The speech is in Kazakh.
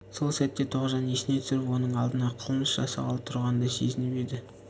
сол сәтте тоғжан есіне түсіп оның алдында қылмыс жасағалы тұрғандай сезініп еді